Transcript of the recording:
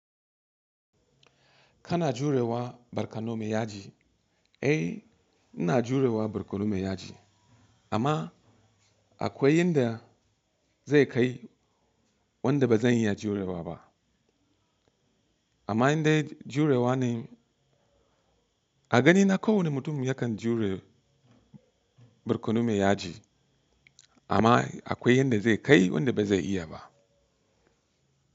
Kana jurewa barkano mai yaji? Eh, ina jurewa barkano mai yaji. Amma akwai yanda zai kai wanda ba zan iya jurewa ba. Amma indai jurewa ne a ganina kowane mutum yakan jure barkono mai yaji. Amma akwai yanda zai kai wanda ba zai iya ba.